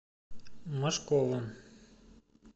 мошковым